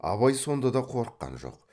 абай сонда да қорыққан жоқ